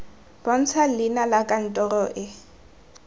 bontsha leina la kantoro e